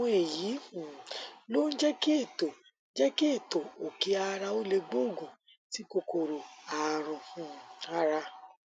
àwọn èyí um ló ń jẹ kí ètò jẹ kí ètò òkí ara ó lè gbógun ti kòkòrò ààrùn um ara